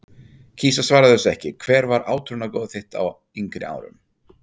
kýs að svara þessu ekki Hver var átrúnaðargoð þitt á yngri árum?